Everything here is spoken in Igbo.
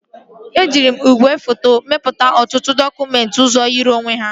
Eji m igwe fotokọpị mepụta ọtụtụ dọkụmentị ọzọ yiri onwe ha